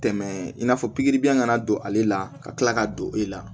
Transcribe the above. Tɛmɛ in n'a fɔ pikiribiyɛn kana don ale la ka kila ka don e la